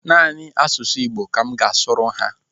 Naanị asụsụ Igbo ka m ga-asụrụ ha.